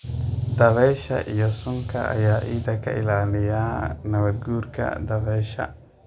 Dabaysha iyo suunka ayaa ciidda ka ilaaliya nabaad guurka dabaysha.